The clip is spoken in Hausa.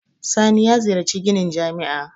Sani ya ziyarci ginin jami'a.